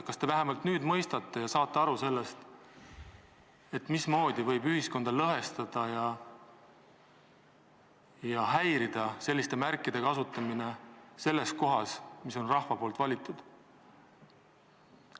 Kas te vähemalt nüüd mõistate ja saate aru, mismoodi võib ühiskonda lõhestada ja häirida selliste märkide kasutamine selles kohas, kus on koos rahva valitud inimesed?